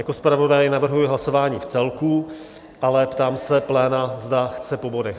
Jako zpravodaj navrhuji hlasování vcelku, ale ptám se pléna, zda chce po bodech.